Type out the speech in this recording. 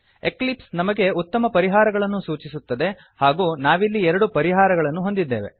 Eclipse ನಮಗೆ ಉತ್ತಮ ಪರಿಹಾರಗಳನ್ನು ಸೂಚಿಸುತ್ತದೆ ಹಾಗೂ ನಾವಿಲ್ಲಿ ಎರಡು ಪರಿಹಾರಗಳನ್ನು ಹೊಂದಿದ್ದೇವೆ